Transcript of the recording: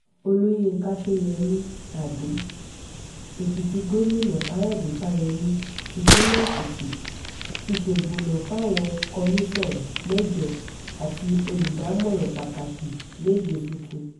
olùyinka ṣọ́yẹ̀mí adó-èkìtì gòmìnà káyọ̀dé fáyemí típínlẹ̀ èkìtì ti ṣèbùnà fáwọn kọ́mìnsàn mẹ́jọ àti olùdámọ̀ràn pàtàkì méje tuntun